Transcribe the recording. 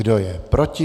Kdo je proti?